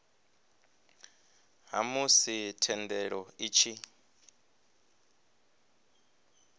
ha musi thendelo i tshi